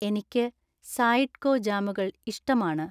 എനിക്ക് സായിഡ്കോ ജാമുകൾ ഇഷ്ടമാണ്